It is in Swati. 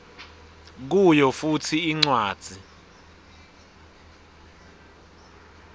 kuyo futsi incwadzi